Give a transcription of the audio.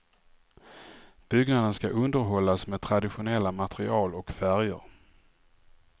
Byggnaden skall underhållas med traditionella material och färger.